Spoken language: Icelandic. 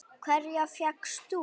Hverja fékkst þú?